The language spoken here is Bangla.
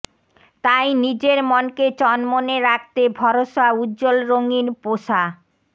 তাই নিজের মনকে চনমনে রাখতে ভরসা উজ্জ্বল রঙিন পোশা